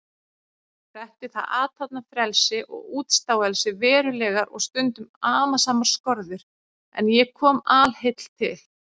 Setti það athafnafrelsi og útstáelsi verulegar og stundum amasamar skorður, en ég kom alheill til